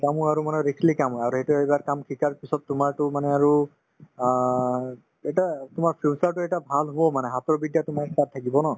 আৰু মানে risky কাম হয় আৰু সেইটো এইবাৰ কাম শিকাৰ পিছত তোমাৰতো মানে আৰু অ এটা তোমাৰ future তো এটা ভাল হব মানে হাতৰ বিদ্যা তোমাৰ তাত থাকিব ন